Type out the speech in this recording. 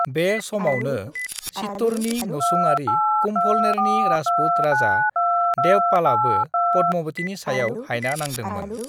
"बे समावनो, चित्तौड़नि नसुङारि कुम्भलनेरनि राजपुत राजा देवपालआबो पद्मावतीनि सायाव हायना नांदोंमोन।"